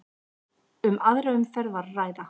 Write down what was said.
Um aðra umferð var að ræða